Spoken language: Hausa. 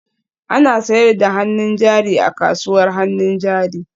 An sayar da hannun jari a kasuwar hannun jari?